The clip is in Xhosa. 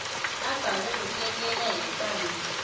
abhalwe bukekela hekwane